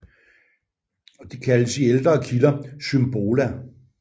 Det kaldes i ældre kilder Symbola